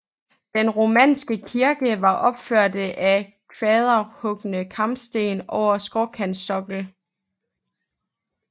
Den romanske kirke var opført af kvaderhugne kampesten over skråkantsokkel